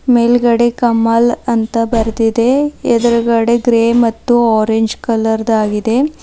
ಮೇಲ್ಗಡೆ ಕಮಲ್ ಅಂತ ಬರೆದಿದೆ ಎದ್ರುಗಡೆ ಗ್ರೇ ಮತ್ತು ಆರೆಂಜ್ ಕಲರ್ ದಾಗಿದೆ.